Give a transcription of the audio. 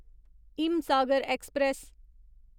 Himsagar express